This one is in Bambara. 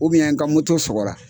n ka sɔgɔra.